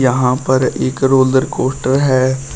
यहाँ पर एक रोलर कोस्टर है।